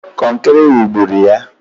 Kọnkịrị wugburu ya!